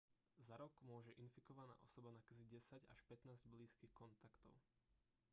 za rok môže infikovaná osoba nakaziť 10 až 15 blízkych kontaktov